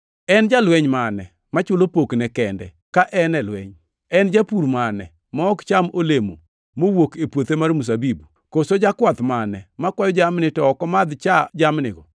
En jalweny mane machulo pokne kende ka en e lweny? En japur mane ma ok cham olemo mowuok e puothe mar mzabibu? Koso jakwath mane makwayo jamni, to ok omadhi cha jamnigo?